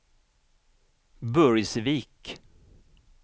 Burgsvik